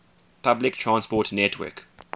public transport network